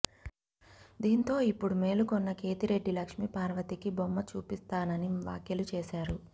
దీంతో ఇప్పుడు మేలుకున్న కేతిరెడ్డి లక్ష్మీ పర్వతికి బొమ్మ చూపిస్తానని వ్యాఖ్యలు చేశారు